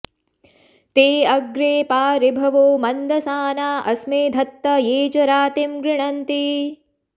ते अ॑ग्रे॒पा ऋ॑भवो मन्दसा॒ना अ॒स्मे ध॑त्त॒ ये च॑ रा॒तिं गृ॒णन्ति॑